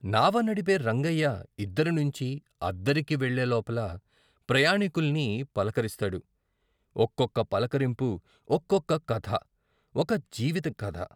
నావ నడిపే రంగయ్య ఇద్దరి నుంచి ఆద్దరికి వెళ్ళే లోపల ప్రయాణీకుల్ని పలకరిస్తాడు ఒక్కొక్క పలకరింపు ఒక్కొక్క కథ ఒక జీవిత కథ.